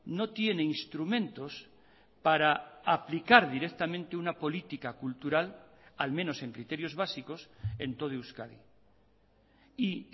no tiene instrumentos para aplicar directamente una política cultural al menos en criterios básicos en todo euskadi y